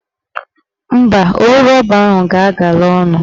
Mba, owu rọba ahụ ga-agala ọnụ